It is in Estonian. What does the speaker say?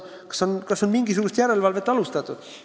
Kas on mingisugust järelevalvet alustatud?